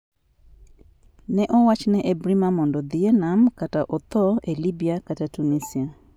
Ne owach ne Ebrima mondo odhi e nam kata otho e Libya kata Tunisia: